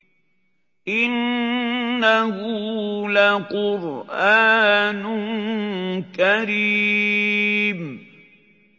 إِنَّهُ لَقُرْآنٌ كَرِيمٌ